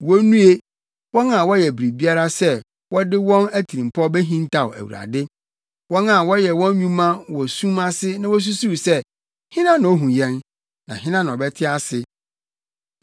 Wonnue, wɔn a wɔyɛ biribiara sɛ wɔde wɔn atirimpɔw behintaw Awurade, wɔn a wɔyɛ wɔn nnwuma wɔ sum ase na wosusuw sɛ, “Hena na ohu yɛn? Hena na ɔbɛte ase?”